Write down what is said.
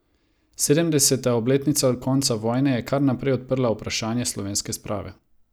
Sedemdeseta obletnica konca vojne je kar naprej odprla vprašanje slovenske sprave.